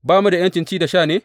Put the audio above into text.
Ba mu da ’yancin ci da sha ne?